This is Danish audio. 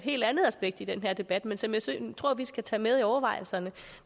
helt andet aspekt i den her debat men som jeg tror vi skal tage med i overvejelserne